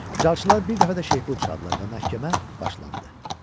Calçılar bir dəfə də şeypur çaldılar və məhkəmə başlandı.